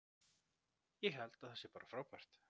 Ég held að það sé bara frábært.